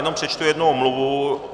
Jenom přečtu jednu omluvu.